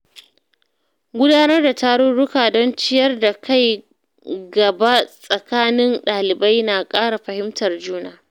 Gudanar da tarurruka don ciyar da kai gaba tsakanin ɗalibai na ƙara fahimtar juna.